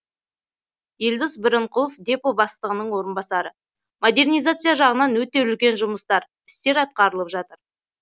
елдос бірінқұлов депо бастығының орынбасары модернизация жағынан өте үлкен жұмыстар істер атқарылып жат